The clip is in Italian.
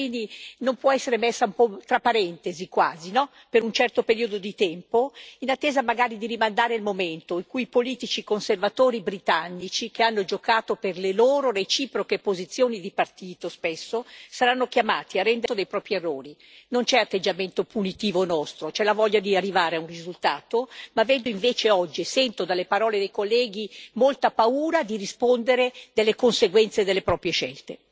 Io penso che la vita dei cittadini non possa essere messa tra parentesi, per un certo periodo di tempo, in attesa magari di rimandare il momento in cui i politici conservatori britannici, che hanno spesso giocato per le loro reciproche posizioni di partito, saranno chiamati a rendere conto dei propri errori. Il nostro non è un atteggiamento punitivo bensì è la voglia di arrivare a un risultato. Ma vedo invece oggi e sento dalle parole dei colleghi molta paura di rispondere delle conseguenze delle proprie scelte.